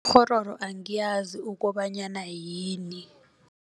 Ikghororo angiyazi ukobanyana yini.